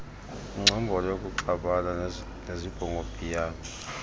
ingcombolo yokuxabana nezibhongobhiyane